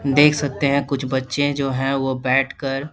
देख सकते हैं कुछ बच्चे जो हैं वो बैठ कर --